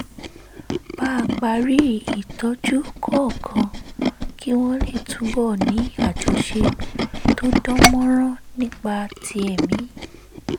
bá parí ìtọ́jú kọ̀ọ̀kan kí wọ́n lè túbọ̀ ní àjọṣe tó dán mọ́rán nípa ti ẹ̀mí